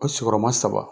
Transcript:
O sigiyɔrɔma saba